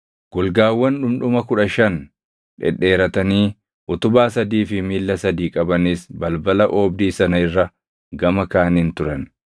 Golgaawwan dhundhuma kudha shan dhedheeratanii utubaa sadii fi miilla sadii qabanis balbala oobdii sana irra gama kaaniin turan.